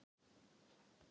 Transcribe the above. Strandið tafði skófluna